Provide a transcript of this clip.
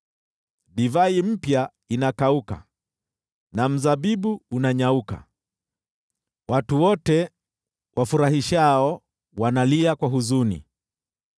Divai mpya inakauka na mzabibu unanyauka, watu wote wafurahishao wanalia kwa huzuni.